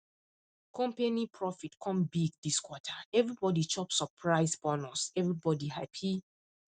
company profit come big this quarter everybody chop surprise bonus everybody happy